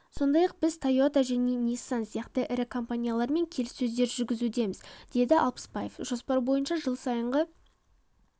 сондай-ақ біз тойота және ниссан сияқты ірі компаниялармен келіссөздер жүргізудеміз деді алпысбаев жоспар бойынша жыл сайынғы